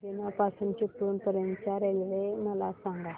बीना पासून चिपळूण पर्यंत च्या रेल्वे मला सांगा